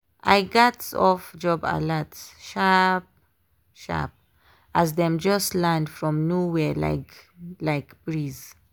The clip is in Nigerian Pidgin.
i gats off job alerts sharp-sharp as dem just land from nowhere like like breeze.